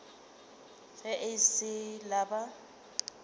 ge e sa le ba